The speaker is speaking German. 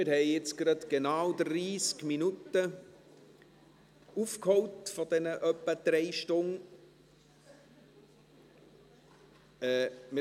Wir haben genau 30 Minuten von den ungefähr 3 Stunden aufgeholt.